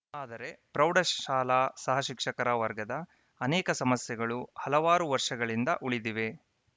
ಆದರೆ ಪ್ರೌಢಶಾಲಾ ಸಹಶಿಕ್ಷಕರ ವರ್ಗದ ಅನೇಕ ಸಮಸ್ಯೆಗಳು ಹಲವಾರು ವರ್ಷಗಳಿಂದ ಉಳಿದಿವೆ